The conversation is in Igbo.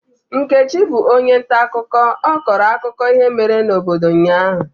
Nkechi bụ onye ntaakụkọ, ọ kọrọ akụkọ ihe mere n'obodo ụnyahụ.